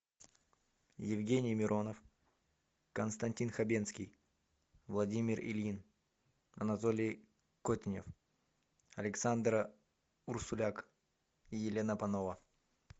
евгений миронов константин хабенский владимир ильин анатолий котенев александра урсуляк и елена панова